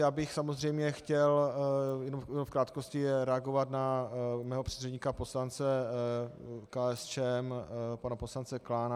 Já bych samozřejmě chtěl jenom v krátkosti reagovat na svého předřečníka, poslance KSČM, pana poslance Klána.